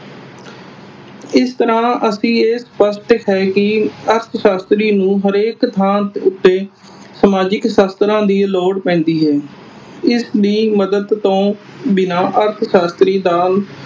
ਇਸ ਤਰ੍ਹਾਂ ਅਸੀਂ ਇਹ ਸਪਸ਼ਟ ਹੈ ਕਿ ਅਰਥ ਸ਼ਾਸਤਰੀ ਨੂੰ ਹਰੇਕ ਥਾਂ ਦੇ ਉਤੇ ਸਮਾਜਿਕ ਸ਼ਾਸਤਰਾਂ ਦੀ ਲੋੜ ਪੈਂਦੀ ਹੈ। ਇਸ ਦੀ ਮਦਦ ਤੋਂ ਬਿਨਾਂ ਅਰਥ ਸ਼ਾਸਤਰੀ ਦਾ